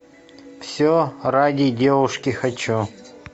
все ради девушки хочу